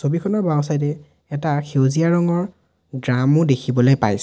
ছবিখনৰ বাওঁছাইডে এটা সেউজীয়া ৰঙৰ ড্ৰামো দেখিবলৈ পাইছোঁ।